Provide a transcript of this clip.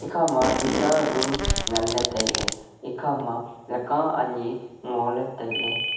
ekhama tuita room nganley tailey ekhama leka anyi ngoley tailey.